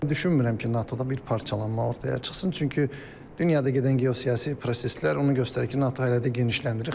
Düşünmürəm ki, NATO-da bir parçalanma ortaya çıxsın, çünki dünyada gedən geosiyasi proseslər onu göstərir ki, NATO hələ də genişləndirir.